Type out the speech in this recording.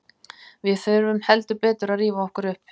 Við þurfum heldur betur að rífa okkur upp.